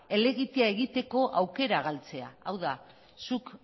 elegitea egiteko aukera galtzea hau da zuk